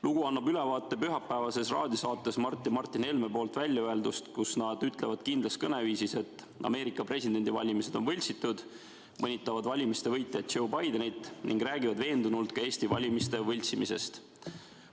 Lugu annab ülevaate pühapäevases raadiosaates Mart ja Martin Helme poolt väljaöeldust, kus nad ütlevad kindlas kõneviisis, et Ameerika presidendivalimised on võltsitud, mõnitavad valimiste võitjat Joe Bidenit ning räägivad veendunult ka Eesti valimiste võltsimisest.